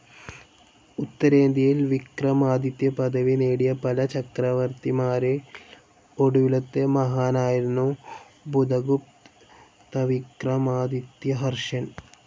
ഉത്തരേന്ത്യയിൽ വിക്രമാദിത്യപദവി നേടിയ പല ചക്രവർത്തിമാരിൽ ഒടുവിലത്തെ മഹാനായിരുന്നു ബുധഗുപ്തവിക്രമാദിത്യഹർഷൻ.